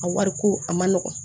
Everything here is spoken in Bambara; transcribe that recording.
A wari ko a man nɔgɔn